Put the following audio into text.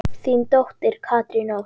Þín dóttir, Katrín Ósk.